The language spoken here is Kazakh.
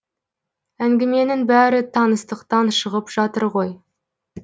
әңгіменің бәрі таныстықтан шығып жатыр ғой